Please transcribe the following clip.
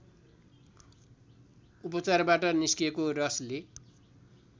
उपचारबाट निस्केको रसले